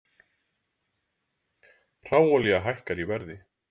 Hráolía hækkar í verði